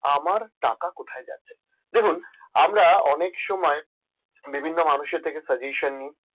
আমার টাকা কোথায় যাচ্ছে দেখুন আমরা অনেক সময় বিভিন্ন মানুষের থেকে suggestion নিয়